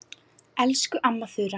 Elsku amma Þura.